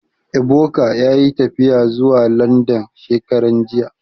Ebuka yayi tafiya zuwa Landan shekaran jiya